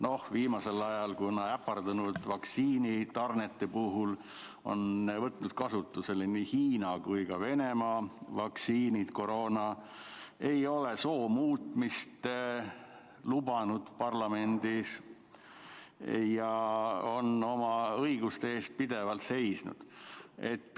No viimasel ajal on ta äpardunud vaktsiinitarnete tõttu võtnud kasutusele nii Hiina kui ka Venemaa koroonavaktsiinid, ei ole soo muutmist lubanud, parlamendi tasemel, ja on oma õiguste eest pidevalt seisnud.